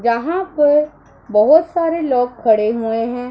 यहां पर बहुत सारे लोग खड़े हुए हैं।